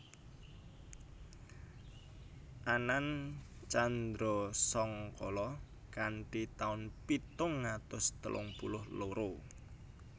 Anan candrasangkala kanthi taun pitung atus telung puluh loro